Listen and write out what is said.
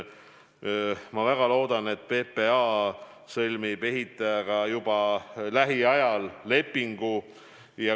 Ma loodan, et PPA sõlmib ehitajaga juba lähiajal lepingu.